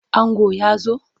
Ango ya zo?